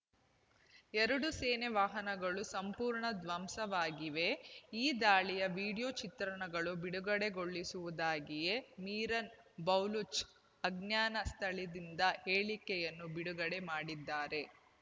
ಎರಡು ಸೇನೆ ವಾಹನಗಳು ಸಂಪೂರ್ಣ ಧ್ವಂಸವಾಗಿವೆ ಈ ದಾಳಿಯ ವೀಡಿಯೋ ಚಿತ್ರಗಳನ್ನು ಬಿಡುಗಡೆಗೊಳಿಸುವುದಾಗಿಯೂ ಮಿರಾನ್ ಬೆಲೂಚ್ ಅಜ್ಞಾನ ಸ್ಥಳದಿಂದ ಹೇಳಿಕೆಯನ್ನು ಬಿಡುಗಡೆ ಮಾಡಿದ್ದಾರೆ